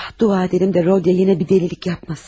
Dua edək ki, Rodiya yenə bir dəlilik etməsin.